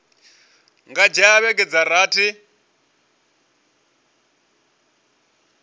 nga dzhia vhege dza rathi